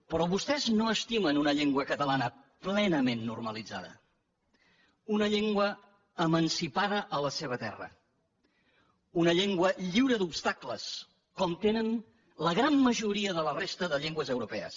però vostès no estimen una llengua catalana plenament normalitzada una llengua emancipada a la seva terra una llengua lliure d’obstacles com tenen la gran majoria de la resta de llengües europees